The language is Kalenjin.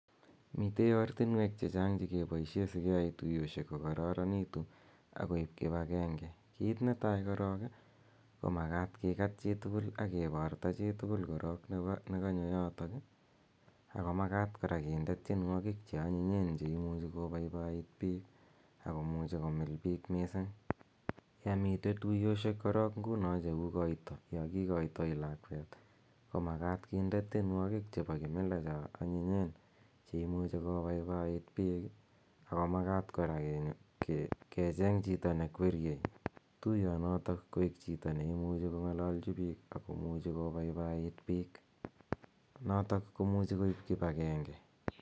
Mitei ortinweek che chang' che keyae si keyai tupchoshek kokararanitu ak koip kip agenge. Kiit ne tai korok ko makat kikaat chi tugul aki parta chi tugul ne kanyo yotok i, ako makat kora kinde tienwogiik che anyinyen che imuchi kopaipaiit piik ako muchi komil piik missing. Mitei tuyoshek nguno korok che u koita, ya kikaitai lakweet ko makat kinde tienwogiik che po kimila che anyinyen, che imuchi kopaipaiit piik, ako makat kora kecheng' to ne kweriei tuyonotok koik chito ne imuchi kong'alalchi piik ako muchi ko papaiit piik notok ko muchi koip kip agenge.